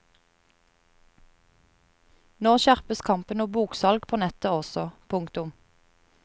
Nå skjerpes kampen om boksalg på nettet også. punktum